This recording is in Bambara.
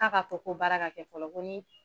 K'a ka fɔ ko baara ka kɛ fɔlɔ ko nii